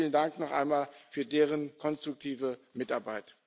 Vielen Dank noch einmal für deren konstruktive Mitarbeit!